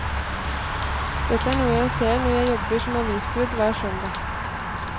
Dette er noe jeg ser når jeg jobber som avisbud hver søndag.